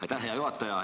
Aitäh, hea juhataja!